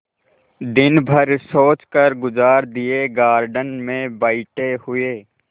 दिन भर सोचकर गुजार दिएगार्डन में बैठे हुए